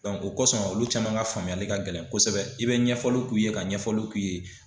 o kɔsɔn olu caman ka faamuyali ka gɛlɛn kosɛbɛ i bɛ ɲɛfɔli k'u ye ka ɲɛfɔli k'u ye.